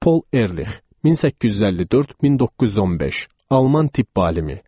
Paul Erlih, 1854-1915, Alman tibb alimi.